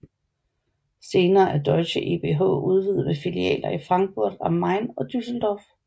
Senere er deutsche ebh udvidet med filialer i Frankfurt am Main og Düsseldorf